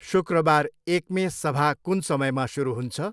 शुक्रबार एक्मे सभा कुन समयमा सुरु हुन्छ?